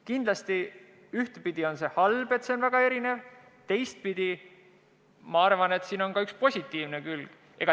Kindlasti ühtepidi on see halb, et see on väga erinev, teistpidi sellel on ka üks positiivne külg.